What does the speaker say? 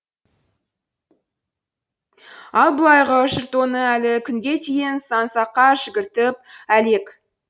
ал былайғы жұрт оны әлі күнге дейін сан саққа жүгіртіп әлек